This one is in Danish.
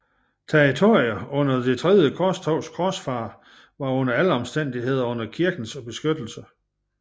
Territorier under Det tredje korstogs korsfarere var under alle omstændigheder under kirkens beskyttelse